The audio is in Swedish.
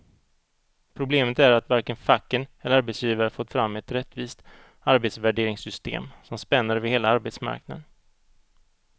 Problemet är att varken facken eller arbetsgivare fått fram ett rättvist arbetsvärderingssystem som spänner över hela arbetsmarknaden.